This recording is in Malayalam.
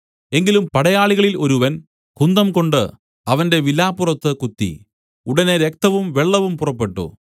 എങ്കിലും പടയാളികളിൽ ഒരുവൻ കുന്തംകൊണ്ട് അവന്റെ വിലാപ്പുറത്ത് കുത്തി ഉടനെ രക്തവും വെള്ളവും പുറപ്പെട്ടു